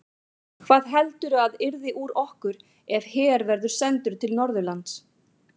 Hvað heldurðu að yrði úr okkur ef her verður sendur til Norðurlands?